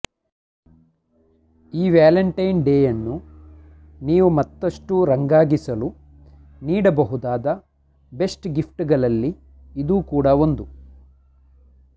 ಈ ವ್ಯಾಲೆಂಟೈನ್ ಡೇಯನ್ನು ನೀವು ಮತ್ತಷ್ಟು ರಂಗಾಗಿಸಲು ನೀಡಬಹುದಾದ ಬೆಸ್ಟ್ ಗಿಫ್ಟ್ ಗಳಲ್ಲಿ ಇದೂ ಕೂಡ ಒಂದು